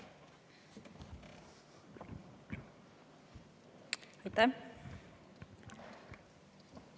Aitäh!